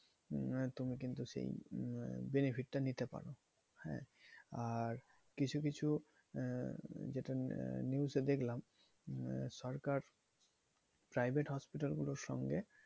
উম তুমি কিন্তু সেই আহ benefit টা নিতে পারো। হ্যাঁ? আর কিছু কিছু আহ যেটা news এ দেখলাম, সরকার private hospital গুলোর সঙ্গে